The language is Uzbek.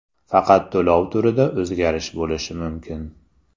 Faqat to‘lov turida o‘zgarish bo‘lishi mumkin.